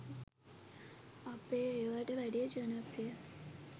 අපේ ඒවට වැඩිය ජනප්‍රියයි.